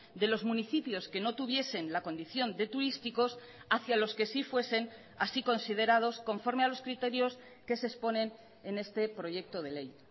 de los municipios que no tuviesen la condición de turísticos hacia los que sí fuesen así considerados conforme a los criterios que se exponen en este proyecto de ley